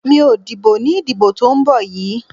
Mi ò dìbò ní ìdìbò tó ń bọ̀ yìí.